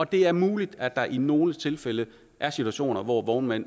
det er muligt at der i nogle tilfælde er situationer hvor vognmænd